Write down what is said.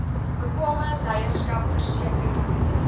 bekwame leierskap verseker